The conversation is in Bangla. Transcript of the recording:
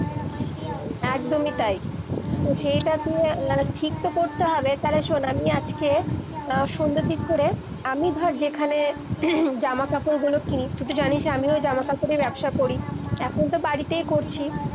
একদমি তাই, সেইটা তুই-এ ঠিক করতে হবে, তালে শুন আমি আজকে, সন্ধ্যার দিক করে আমি ধর যেখানে জামা-কাপড় গুলো কিনি, তুই তো জানিস এ আমিও জামা-কাপড়ের ব্যবসা করি এখন তো বাড়িতেই করছি-